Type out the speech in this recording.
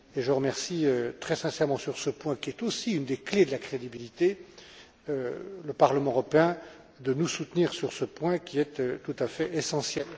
Je remercie d'ailleurs très sincèrement sur ce point, qui est aussi une des clés de la crédibilité, le Parlement européen de nous soutenir sur ce sujet tout à fait essentiel.